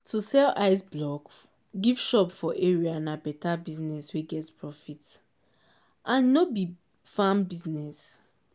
to sell ice block give shop for area na better business wey get profit and e no be farm business.